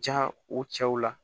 Ja o cɛw la